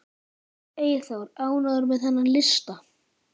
Eyþór, ánægður með þennan lista?